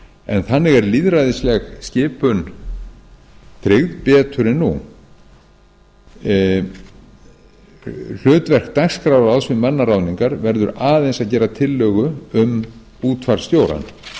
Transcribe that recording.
en þannig er lýðræðisleg skipun tryggð betur en nú hlutverk dagskrárráðs við mannaráðningar verður aðeins að gera tillögu um útvarpsstjórann